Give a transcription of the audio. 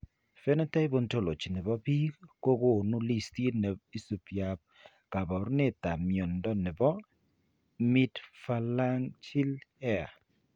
Phenotype Ontology ne po biik ko konu listiit ne isubiap kaabarunetap mnyando ne po Midphalangeal hair.